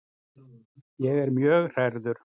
Ég er mjög hrærður.